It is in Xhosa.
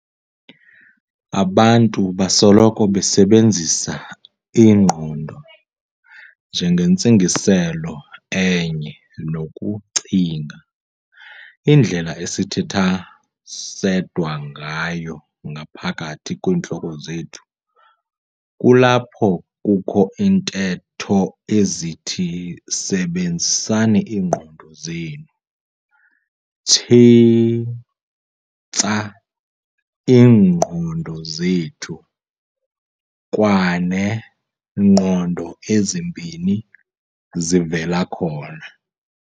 Abantu basoloko besebenzisa "ingqondo" njengentsingiselo enye nokucinga"- indlela esithetha sedwa ngayo "ngaphakathi kwiintloko zethu". Kulapho kukho iintetho ezithi "sebenzisani iingqondo zenu.", "tshintsah iingqondo zethu" kwanee"ngqondo ezimbini" zivela khona.